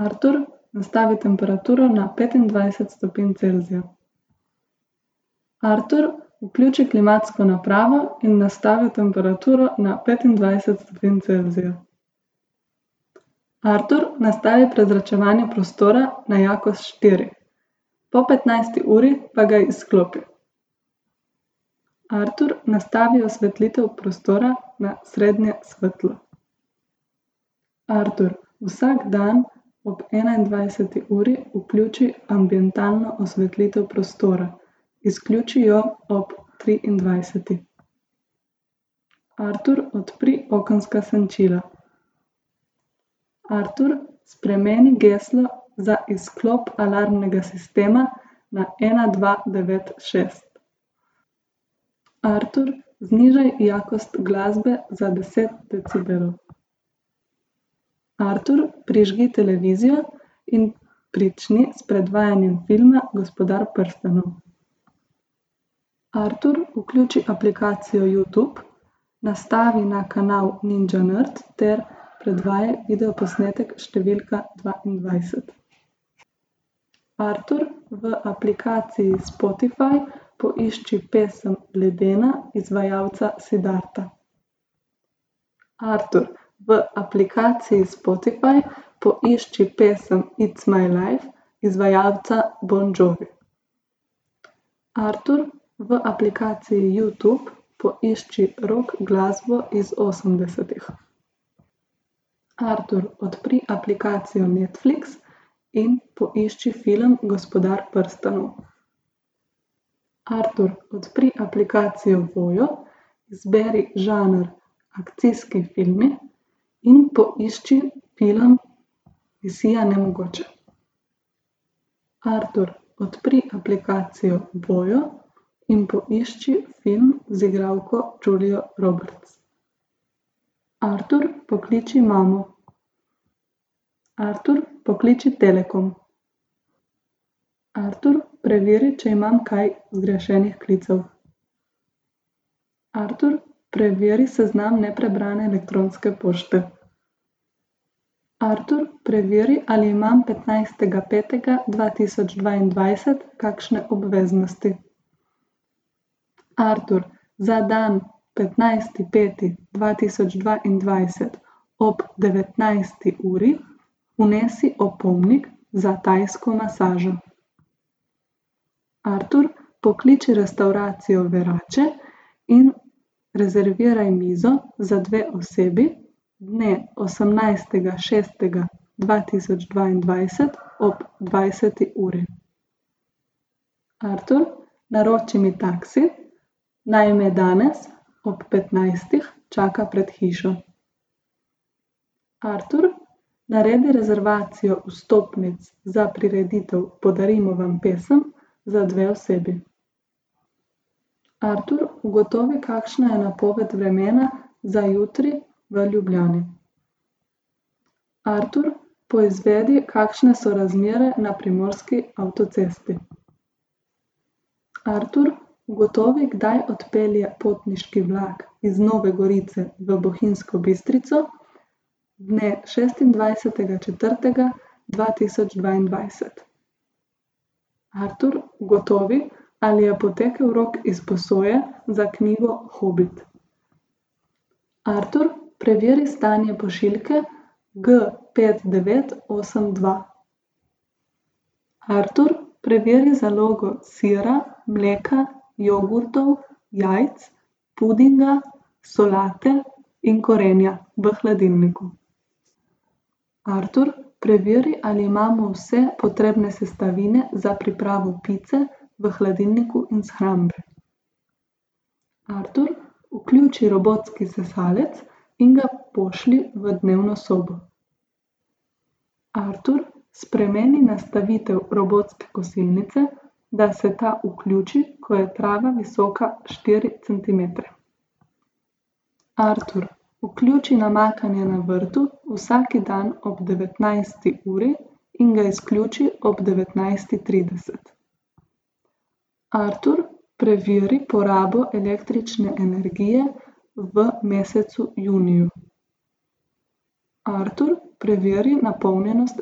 Artur, nastavi temperaturo na petindvajset stopinj Celzija. Artur, vključi klimatsko napravo in nastavi temperaturo na petindvajset stopinj Celzija. Artur, nastavi prezračevanje prostora na jakost štiri. Po petnajsti uri pa ga izklopi. Artur, nastavi osvetlitev prostora na srednje svetlo. Artur, vsak dan ob enaindvajseti uri vključi ambientalno osvetlitev prostora. Izključi jo ob triindvajseti. Artur, odpri okenska senčila. Artur, spremeni geslo za izklop alarmnega sistema na ena, dva, devet, šest. Artur, znižaj jakost glasbe za deset decibelov. Artur, prižgi televizijo in prični s predvajanjem filma Gospodar prstanov. Artur, vključi aplikacijo Youtube, nastavi na kanal Ninja nerd ter predvajaj videoposnetek številka dvaindvajset. Artur, v aplikaciji Spotify poišči pesem Ledena izvajalca Siddharta. Artur, v aplikaciji Spotify poišči pesem It's my life izvajalca Bon Jovi. Artur, v aplikaciji Youtube poišči rock glasbo iz osemdesetih. Artur, odpri aplikacijo Netflix in poišči film Gospodar prstanov. Artur, odpri aplikacijo Voyo, izberi žanr akcijski filmi in poišči film Misija: Nemogoče. Artur, odpri aplikacijo Voyo in poišči film z igralko Julio Roberts. Artur, pokliči imamo. Artur, pokliči Telekom. Artur, preveri, če imam kaj zgrešenih klicev. Artur, preveri seznam neprebrane elektronske pošte. Artur, preveri, ali imam petnajstega petega dva tisoč dvaindvajset kakšne obveznosti. Artur, za dan petnajsti peti dva tisoč dvaindvajset ob devetnajsti uri vnesi opomnik za tajsko masažo. Artur, pokliči restavracijo Verace in rezerviraj mizo za dve osebi dne osemnajstega šestega dva tisoč dvaindvajset ob dvajset uri. Artur, naroči mi taksi. Naj me danes ob petnajstih čaka pred hišo. Artur, naredi rezervacijo vstopnic za prireditev Podarimo vam pesem za dve osebi. Artur, ugotovi, kakšna je napoved vremena za jutri v Ljubljani. Artur, poizvedi, kakšne so razmere na primorski avtocesti. Artur, ugotovi, kdaj odpelje potniški vlak iz Nove Gorice v Bohinjsko Bistrico dne šestindvajsetega četrtega dva tisoč dvaindvajset. Artur, ugotovi, ali je potekel rok izposoje za knjigo Hobit. Artur, preveri stanje pošiljke G pet, devet, osem, dva. Artur, preveri zalogo sira, mleka, jogurtov, jajc, pudinga, solate in korenja v hladilniku. Artur, preveri, ali imamo vse potrebne sestavine za pripravo pice v hladilniku in shrambi. Artur, vključi robotski sesalec in ga pošlji v dnevno sobo. Artur, spremeni nastavitev robotske kosilnice, da se ta vključi, ko je trava visoka štiri centimetre. Artur, vključi namakanje na vrtu vsaki dan ob devetnajsti uri in ga izključi ob devetnajsti trideset. Artur, preveri porabo električne energije v mesecu juniju. Artur, preveri napolnjenost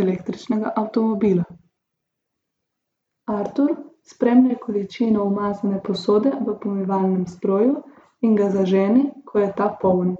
električnega avtomobila. Artur, spremljaj količino umazane posode v pomivalnem stroju in ga zaženi, ko je ta poln.